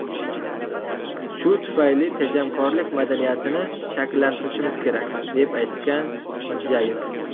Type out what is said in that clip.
Shu tufayli tejamkorlik madaniyatini shakllantirishimiz kerak”, deb aytgan Mirzayev.